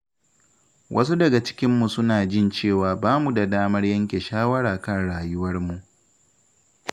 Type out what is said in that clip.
Wasu daga cikinmu suna jin cewa ba mu da damar yanke shawara kan rayuwarmu